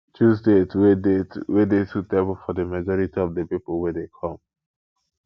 choose date wey date wey dey suitable for di majority of di pipo wey dey come